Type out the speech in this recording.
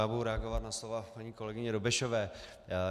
Já budu reagovat na slova paní kolegyně Dobešové.